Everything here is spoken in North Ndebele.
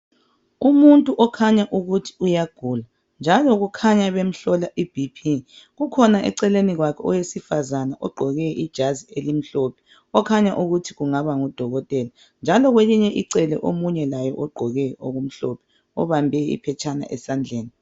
Umuntu okhanya ukuthi uyagula njalo kukhanya bemhlola iBP, kukhona eceleni kwakhe owesifazana ogqoke ijazi elimhlophe okhanya ukuthi kungaba kudokotela ,njalo kwelinye icele omunye laye ogqoke okumhlophe obambe iphetshana esandleni.